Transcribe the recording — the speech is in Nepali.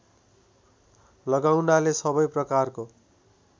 लगाउनाले सबै प्रकारको